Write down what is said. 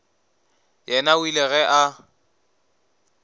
yena o ile ge a